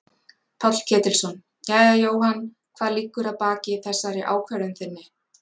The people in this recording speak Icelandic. Páll Ketilsson: Jæja Jóhann hvað liggur að baki þessari ákvörðun þinni?